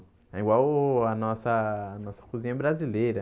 É igual a nossa nossa cozinha brasileira.